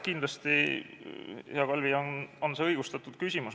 Kindlasti, hea Kalvi, on see õigustatud küsimus.